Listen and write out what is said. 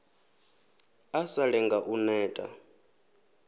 a sa lenge u neta